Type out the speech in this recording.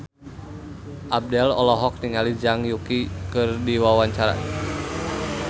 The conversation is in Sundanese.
Abdel olohok ningali Zhang Yuqi keur diwawancara